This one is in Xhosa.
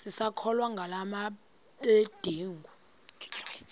sisakholwa ngala mabedengu